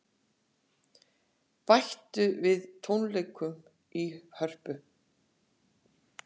Bætt við tónleikum í Hörpu